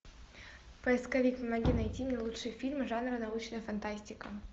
поисковик помоги найти мне лучшие фильмы жанра научная фантастика